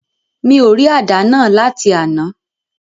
Mi ò rí àdá náà láti àná.